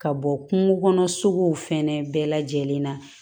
Ka bɔ kungo kɔnɔ suguw fɛnɛ bɛɛ lajɛlen na